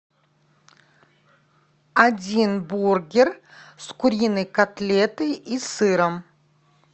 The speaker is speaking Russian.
один бургер с куриной котлетой и сыром